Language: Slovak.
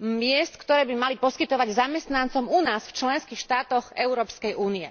miest, ktoré by mali poskytovať zamestnancom u nás, v členských štátoch Európskej únie.